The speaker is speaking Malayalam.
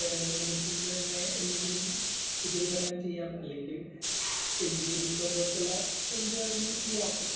ഒന്നെങ്കില്‍ നിയമത്തിന്റെ തന്നെ എന്തെങ്കിലും ഉപരിപഠനം ചെയ്യാം അല്ലെങ്കിൽ എം.ബി.എ, ബി കോം.പോലത്തുള്ള എന്തുവേണമെങ്കിലും ചെയ്യാം.